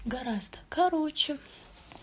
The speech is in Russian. гораздо короче